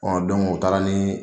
Ɔ don o u taara ni